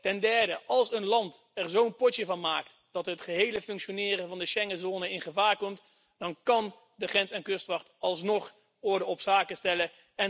Ten derde, als een land er zo'n potje van maakt dat het gehele functioneren van de Schengenzone in gevaar komt, dan kan de grens en kustwacht alsnog orde op zaken stellen.